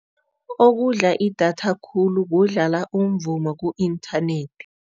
Okudla idatha khulu kudlala umvumo ku-inthanethi.